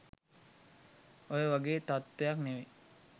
ඔය වගේ තත්වයක් නෙවෙයි